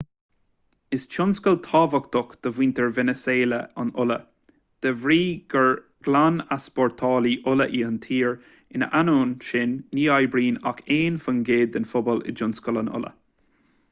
is tionscal tábhachtach do mhuintir veiniséala an ola de bhrí gur glan-easpórtálaí ola í an tír ina ainneoin sin ní oibríonn ach aon faoin gcéad den phobal i dtionscal an ola